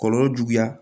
Kɔlɔlɔ juguya